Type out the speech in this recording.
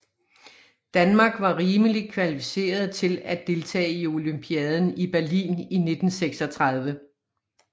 Danmark var rimeligt kvalificeret til at deltage i olympiaden i Berlin i 1936